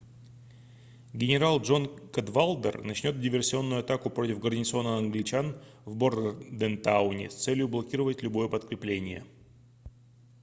генарал джон кадвалдер начнет диверсионную атаку против гарнизона англичан в бордентауне с целью блокировать любое подкрепление